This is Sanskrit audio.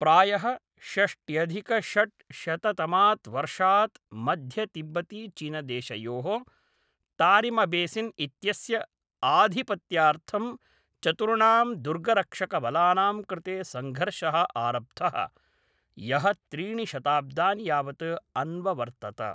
प्रायः षष्ट्यधिकषड्शततमात् वर्षात् मध्यतिब्बतिचीनदेशयोः तारिमबेसिन् इत्यस्य आधिपत्यार्थं चतुर्णां दुर्गरक्षकबलानां कृते सङ्घर्षः आरब्धः, यः त्रीणि शताब्दानि यावत् अन्ववर्तत।